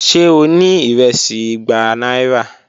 Ṣe o ni iresi igba aira?